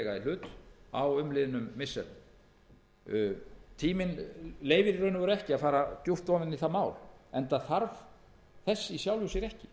hlut á umliðnum missirum tíminn leyfir ekki að fara djúpt ofan í það mál enda þarf þess í sjálfu sér ekki